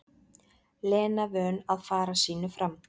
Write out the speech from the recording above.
Lena vön að fara sínu fram.